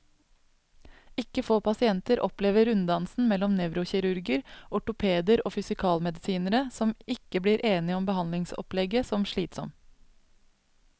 Ikke få pasienter opplever runddansen mellom nevrokirurger, ortopeder og fysikalmedisinere, som ikke blir enige om behandlingsopplegget, som slitsom.